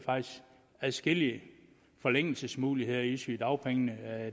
adskillige forlængelsesmuligheder i sygedagpengene